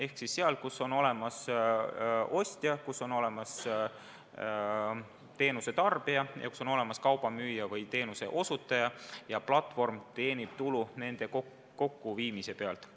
Ehk siis seal, kus on olemas ostja või teenusetarbija ja kus on olemas kaubamüüja või teenuseosutaja, teenib platvorm nende kokkuviimise pealt tulu.